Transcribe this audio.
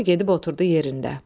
Sonra gedib oturdu yerində.